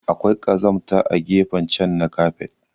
Akwai kazamta a gefen chan na kafet.